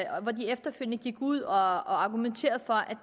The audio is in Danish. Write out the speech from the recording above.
og gik efterfølgende ud og argumenterede for at